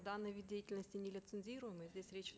данный вид деятельности нелицензируемый здесь речь